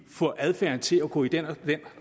få adfærden til at gå i den og den